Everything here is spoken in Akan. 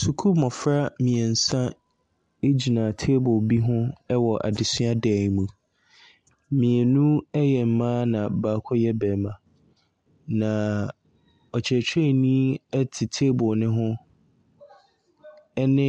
Sukuu mmɔfra mmeɛnsa gyina table bi ho wɔ adesua dan mu. Mmienu yɛ mma na baako yɛ barima, na ɔkyerɛkyerɛni te table no ho ne